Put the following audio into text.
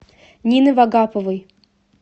нины вагаповой